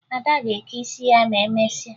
Ada ga-eke isi ya ma emesịa